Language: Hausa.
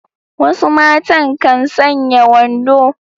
Wasu matan kan sanya wando.